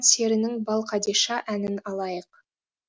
серінің балқадиша әнін алайық